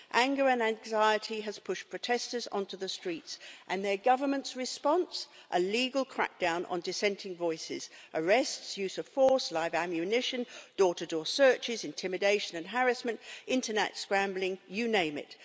Anger and anxiety has pushed protesters onto the streets and their government's response a legal crackdown on dissenting voices arrests, use of force, live ammunition, door to door searches, intimidation and harassment, Internet scrambling, you name it!